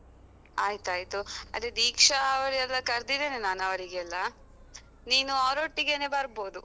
ಆಯ್ತಾಯ್ತು. ಅದೆ ದೀಕ್ಷಾ ಅವರೆಲ್ಲ ಕರ್ದಿದ್ದೆನೆ ನಾನು ಅವರಿಗೆಲ್ಲಾ. ನೀನು ಅವರೊಟ್ಟಿಗೆನೆ ಬರ್ಬೋದು.